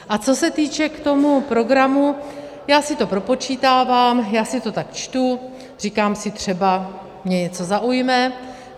A co se týče k tomu programu: Já si to propočítávám, já si to tak čtu, říkám si, třeba mě něco zaujme.